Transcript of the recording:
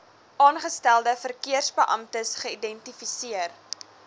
aangestelde verkeersbeamptes geïdentifiseer